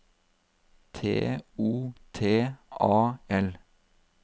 T O T A L